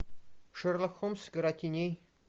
шерлок холмс игра теней